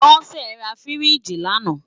Bose rá fírìjí làná